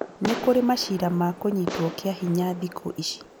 Nĩkũrĩ maciira ma kũnyitwo kĩa hinya thikũ ici